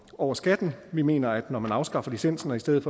over skatten vi mener at når man afskaffer licensen og i stedet